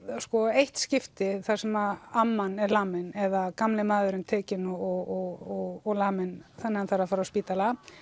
eitt skipti þar sem amman er lamin eða gamli maðurinn tekinn og laminn þannig hann þarf að fara á spítala